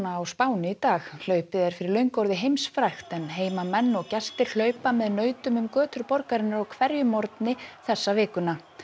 á Spáni í dag hlaupið er fyrir löngu orðið heimsfrægt en heimamenn og gestir hlaupa með nautunum um götur borgarinnar á hverjum morgni þessa vikuna